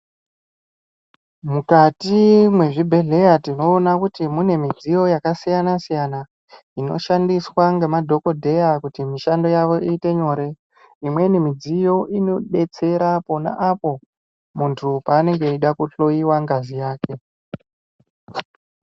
Mukati mwezvi bhedhlera tinoona kuti mune midziyo yakasiyana siyana inoshandiswa ngema dhokodheya kuti mishando yavo iite nyore. Imweni midziyo inobetsera pona apo munhu paanenge eide kuhloyiwa ngazi yake.